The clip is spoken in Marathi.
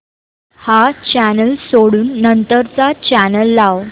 हा चॅनल सोडून नंतर चा चॅनल लाव